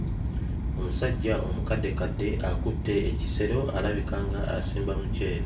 Omusajja omukaddekadde akutte ekisero alabika nga asimba muceere.